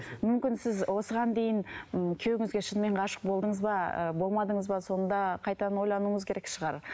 мүмкін сіз осыған дейін м күйеуіңізге шынымен ғашық болдыңыз ба ы болмадыңыз ба соны да қайтадан ойлануыңыз керек шығар